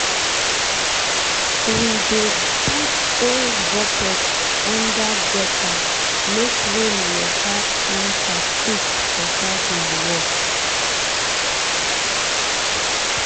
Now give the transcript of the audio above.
we dey put old bucket under gutter make rain water enter quick for garden work.